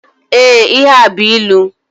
Ee, ihe a bú ịlụ.